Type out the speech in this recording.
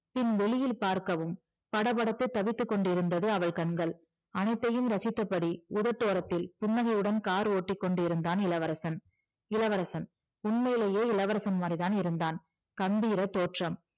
பின் வெளியில் பார்க்கவும் படபடத்து தவித்துக்கொண்டிருந்தது அவள் கண்கள் அனைத்தையும் ரசித்தபடி உதட்டோரத்தில் புன்னகையுடன் கார் ஓட்டிக்கொண்டிருந்தான் இளவரசன் இளவரசன் உண்மையிலேயே இளவரசன் மாதிரி தான் இருந்தான் கம்பீர தோற்றம்